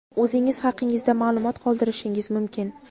o‘zingiz haqingizda maʼlumot qoldirishingiz mumkin.